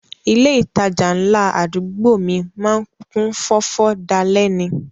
Ilé ìtajà ńlá àdúgbò mi má ń kún fọ́fọ́ dalẹ́ ni